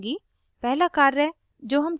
अब मैं font बढ़ाऊँगी